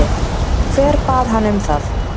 Hver bað hann um það?